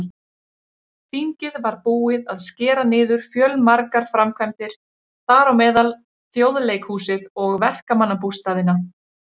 Þingið var búið að skera niður fjölmargar framkvæmdir, þar á meðal Þjóðleikhúsið og verkamannabústaðina.